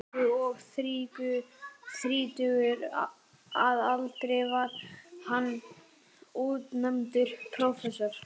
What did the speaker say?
Danmörku, og þrítugur að aldri var hann útnefndur prófessor.